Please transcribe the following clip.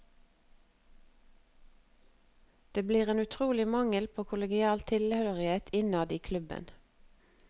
Det blir en utrolig mangel på kollegial tilhørighet innad i klubben.